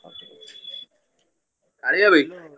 କାଳିଆ ଭାଇ।